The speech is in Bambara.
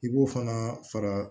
I b'o fana fara